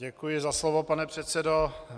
Děkuji za slovo, pane předsedo.